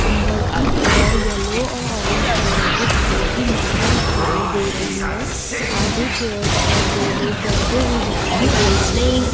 अंदर की और येलो और ऑरेंज कलर के फूलों की माला दिखाई दे रही है। आगे चेयर्स पर दो लोग बैठे हुए दिखाई दे रहे हैं।